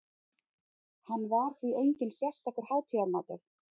Hann var því enginn sérstakur hátíðamatur.